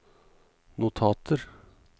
notater